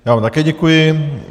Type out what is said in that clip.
Já vám také děkuji.